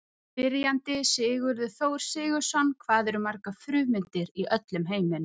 Spyrjandi: Sigurður Þór Sigurðsson Hvað eru margar frumeindir í öllum heiminum?